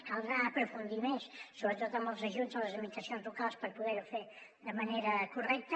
caldrà aprofundir més sobretot en els ajuts a les administracions locals per poder ho fer de manera correcta